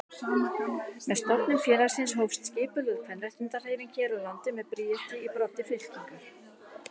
Með stofnun félagsins hófst skipulögð kvenréttindahreyfing hér á landi með Bríeti í broddi fylkingar.